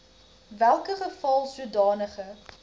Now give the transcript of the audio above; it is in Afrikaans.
welke geval sodanige